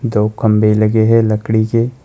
दो खंभे लगे हैं लकड़ी के।